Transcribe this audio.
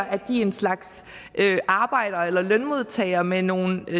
at de er en slags arbejdere eller lønmodtagere med nogle